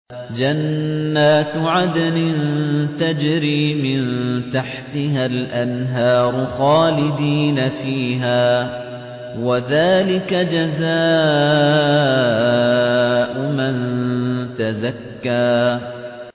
جَنَّاتُ عَدْنٍ تَجْرِي مِن تَحْتِهَا الْأَنْهَارُ خَالِدِينَ فِيهَا ۚ وَذَٰلِكَ جَزَاءُ مَن تَزَكَّىٰ